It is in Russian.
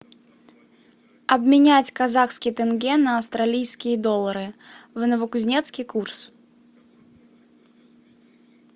обменять казахский тенге на австралийские доллары в новокузнецке курс